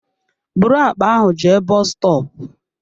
Bụrụ àkpà ahụ jee bọs stọọpu!